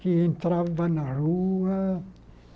que entrava na rua.